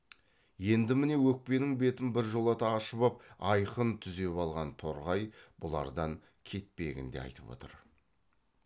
енді міне өкпенің бетін біржолата ашып ап айқын түзеп алған торғай бұлардан кетпегін де айтып отыр